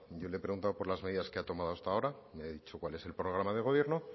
yo le he preguntado por las medidas que ha tomado hasta ahora me ha dicho cuál es el programa de gobierno